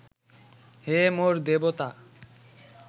হে মোর দেবতা